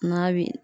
Maa bi